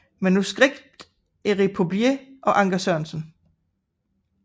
Manuskript Erik Pouplier og Anker Sørensen